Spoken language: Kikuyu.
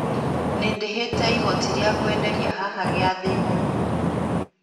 Ni ndĩhĩte igoti ria kwenderĩa haha gĩathi-inĩ